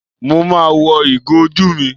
Mo ma wọ ìgò ojú mi.